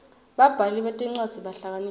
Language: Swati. babhali betincwadzi bahlakaniphile